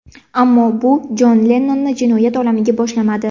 Ammo bu Jon Lennonni jinoyat olamiga boshlamadi.